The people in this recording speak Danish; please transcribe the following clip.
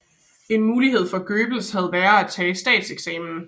En mulighed for Goebbels havde været at tage statseksamen